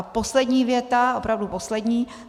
A poslední věta, opravdu poslední.